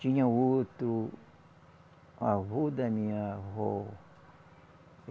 Tinha outro avô da minha avó.